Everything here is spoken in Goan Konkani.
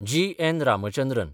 जी. एन. रामचंद्रन